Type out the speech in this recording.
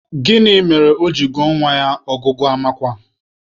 Gịnị mere o ji gụọ nwa ya Ọgụgụamakwa?